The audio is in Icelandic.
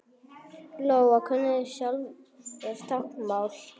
Lóa: Kunnið þið sjálfir táknmál?